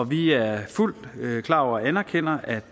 vi er fuldt ud klar over og anerkender at